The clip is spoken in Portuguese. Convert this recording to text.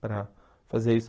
Para fazer isso.